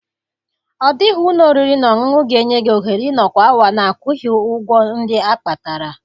Ọ dịghị ụlọ oriri na ọṅụṅụ ga-enye gị ohere ịnọkwu awa na-akwụghị ụgwọ ndị a kpatara.